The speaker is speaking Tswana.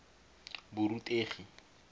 borutegi